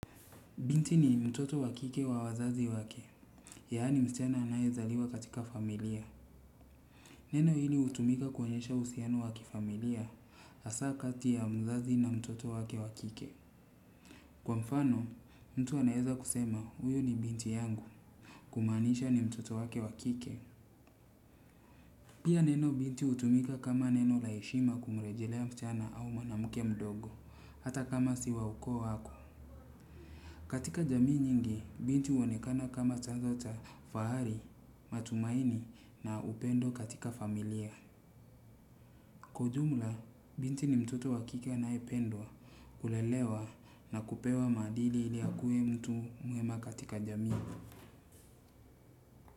Binti ni mtoto wa kike wa wazazi wake, yaani msichana anayezaliwa katika familia. Neno hili hutumika kuonyesha uhusiano wa kifamilia hasa kati ya mzazi na mtoto wake wa kike. Kwa mfano, mtu anaeza kusema huyu ni binti yangu. Kumaanisha ni mtoto wake wa kike. Pia neno binti hutumika kama neno la heshima kumrejelea msichana au mwanamke mdogo, hata kama si wa ukoo wako. Katika jamii nyingi, binti huonekana kama chanzo cha, fahari, matumaini na upendo katika familia. Kwa ujumla binti ni mtoto wa kike anayependwa kulelewa na kupewa maadili ili akuwe mtu mwema katika jamii.